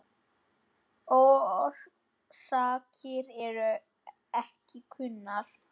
Orsakir eru ekki kunnar.